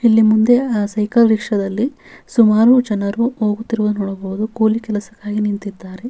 ಇಲ್ಲಿ ಮುಂದೆ ಆ ಸೈಕಲ್ ರಿಕ್ಷಾದಲ್ಲಿ ಸುಮಾರು ಜನರು ಹೋಗುತ್ತಿರುದು ನೋಡಬಹುದು ಕೂಲಿ ಕೆಲಸಕ್ಕಾಗಿ ನಿಂತಿದ್ದಾರೆ.